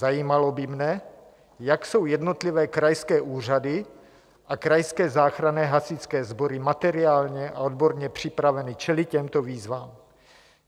Zajímalo by mne, jak jsou jednotlivé krajské úřady a krajské záchranné hasičské sbory materiálně a odborně připraveny čelit těmto výzvám.